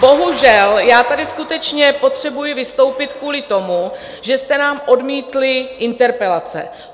Bohužel, já tady skutečně potřebuji vystoupit kvůli tomu, že jste nám odmítli interpelace.